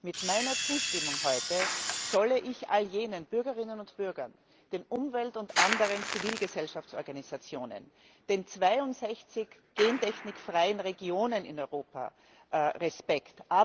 Mit meiner Zustimmung heute zolle ich all jenen Bürgerinnen und Bürgern, den Umwelt und anderen Zivilgesellschaftsorganisationen, den 62 gentechnikfreien Regionen in Europa Respekt.